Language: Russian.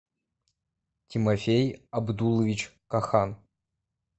тимофей абдуллович кохан